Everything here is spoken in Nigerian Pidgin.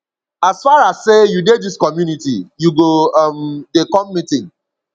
as far as sey you dey dis community you go um dey come meeting